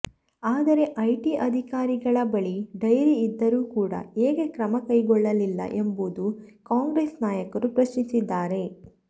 ಆದರೆ ಐಟಿ ಅಧಿಕಾರಿಗಳ ಬಳಿ ಡೈರಿ ಇದ್ದರೂ ಕೂಡ ಏಕೆ ಕ್ರಮಕೈಗೊಳ್ಳಲಿಲ್ಲ ಎಂಬುದು ಕಾಂಗ್ರೆಸ್ ನಾಯಕರು ಪ್ರಶ್ನಿಸಿದ್ದಾರೆ